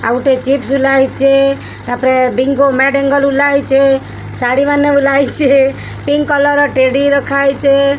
ଆଉ ଗୋଟେ ଚିପ୍ସ ଝୁଲାହେଇଚି। ତାପରେ ବୀଙ୍ଗୋ ମାଡେ ଅଙ୍ଗେଲ ଉଲାହେଇଚି। ଶାଢ଼ୀ ମାନେ ଉଲହେଇଚି। ପିଙ୍କ୍ କଲର ଟ୍ରେଡି ରଖାହେଇଚେ।